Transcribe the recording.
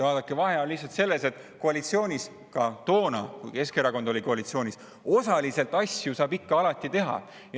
Vaadake, vahe on lihtsalt selles, et koalitsioonis saab ikka – sai ka toona, kui Keskerakond oli koalitsioonis – osaliseltki asju teha.